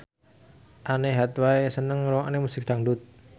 Anne Hathaway seneng ngrungokne musik dangdut